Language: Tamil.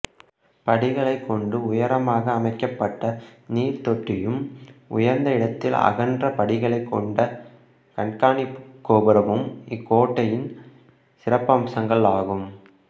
படிகளைக் கொண்டு உயரமாக அமைக்கப்பட்ட நீர்த்தொட்டியும் உயர்ந்த இடத்தில் அகன்ற படிகளைக் கொண்ட கண்காணிப்புக் கோபுரமும் இக்கோட்டையின் சிறப்பம்சங்களாகும்